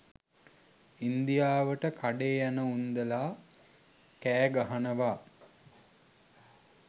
ඉන්දියාවට කඩේ යනඋන්දැලා කෑ ගහනවා